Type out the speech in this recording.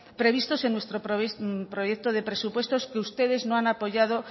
previstos en nuestro proyecto de presupuestos que ustedes no han apoyado